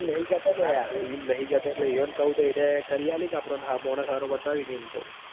ઈમ નહિ કેતો લાયા ઈવોન કાવતો તો એરાય કરી આલી ક આપડોન મોણશ બતાવિક ઈમ કવ